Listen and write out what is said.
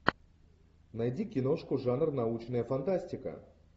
найди киношку жанр научная фантастика